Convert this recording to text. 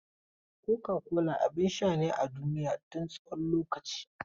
Coca-cola abin sha ne a duniya tun tsawon lokaci.